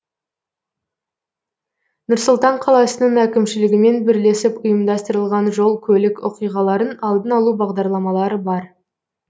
нұр сұлтан қаласының әкімшілігімен бірлесіп ұйымдастырылған жол көлік оқиғаларын алдын алу бағдарламалары бар